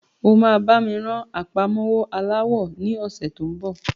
O máa bá mi rán àpamọ́wọ́ aláwọ ní ọ̀sẹ́ tó ń bọ̀.